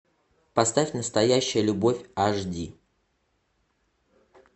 поставь настоящая любовь аш ди